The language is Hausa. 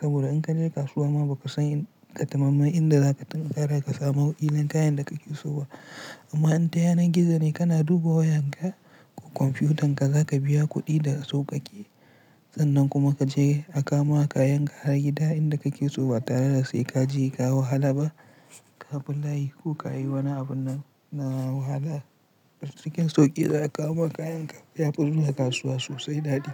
Saboda in ka je kasuwa ma ba ka san katamamman inda za ka tinkara ka samu kila kayan da kake so ba. Amma in ta yanar gizo ne kana duba wayan ka ko kwamfiyutan ka za ka biya kuɗi daga sauƙaƙe. Sannan kuma ka ce a kama kayan ka a gida inda kake so ba tare da sai kaje ka yi wahala ba. Ka bi layi ko ka yi wani abun na wahala. A cikin sauƙi za a kawo maka kayan ka ya fi zuwa kasuwa sosai daɗi.